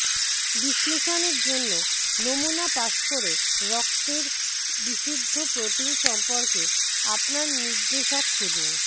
বিশ্লেষণের জন্য নমুনা পাস করে রক্তের রক্তের বিশুদ্ধ প্রোটিন সম্পর্কে আপনার নির্দেশক খুঁজুন